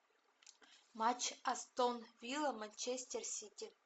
матч астон вилла манчестер сити